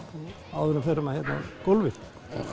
áður en við förum á gólfið